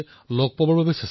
সকলোকে সাক্ষাৎ কৰিছিল